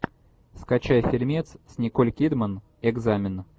скачай фильмец с николь кидман экзамен